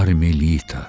Karmelita.